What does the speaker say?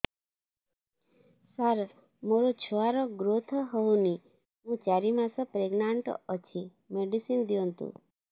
ସାର ମୋର ଛୁଆ ର ଗ୍ରୋଥ ହଉନି ମୁ ଚାରି ମାସ ପ୍ରେଗନାଂଟ ଅଛି ମେଡିସିନ ଦିଅନ୍ତୁ